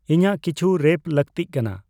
ᱤᱧᱟᱜ ᱠᱤᱪᱷᱩ ᱨᱮᱯ ᱞᱟᱠᱛᱤᱜ ᱠᱟᱱᱟ